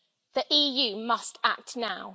The EU must act now.